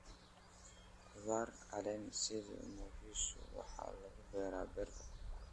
Khudaar caleen sida mxiichu waxay lagu beeraa beerta.